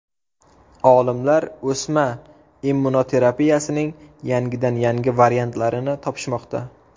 Olimlar o‘sma immunoterapiyaning yangidan-yangi variantlarini topishmoqda.